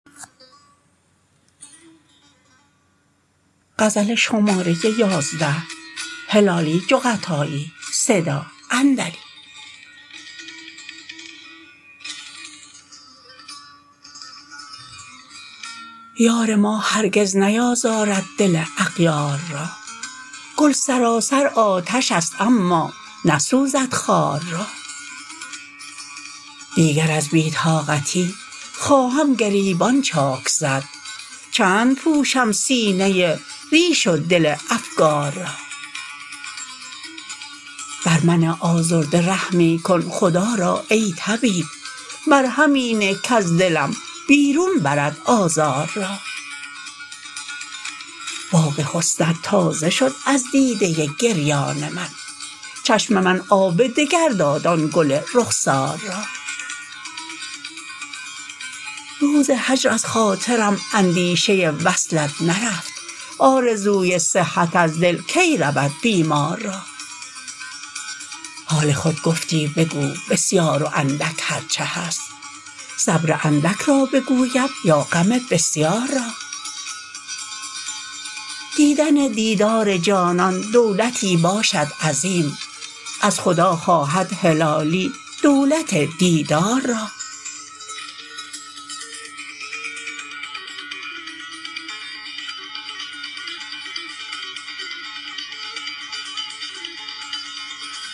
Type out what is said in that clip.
یار ما هرگز نیازارد دل اغیار را گل سراسر آتشست اما نسوزد خار را دیگر از بی طاقتی خواهم گریبان چاک زد چند پوشم سینه ریش و دل افگار را بر من آزرده رحمی کن خدا را ای طبیب مرهمی نه کز دلم بیرون برد آزار را باغ حسنت تازه شد از دیده گریان من چشم من آب دگر داد آن گل رخسار را روز هجر از خاطرم اندیشه وصلت نرفت آرزوی صحت از دل کی رود بیمار را حال خود گفتی بگو بسیار و اندک هرچه هست صبر اندک را بگویم یا غم بسیار را دیدن دیدار جانان دولتی باشد عظیم از خدا خواهد هلالی دولت دیدار را